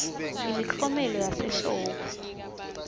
imiklomelo yasehlobo